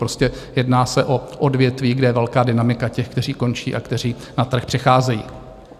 Prostě jedná se o odvětví, kde je velká dynamika těch, kteří končí a kteří na trh přicházejí.